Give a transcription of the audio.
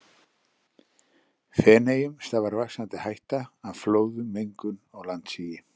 Feneyjum stafar vaxandi hætta af flóðum, mengun og landsigi.